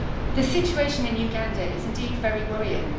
The situation in Uganda is indeed very worrying.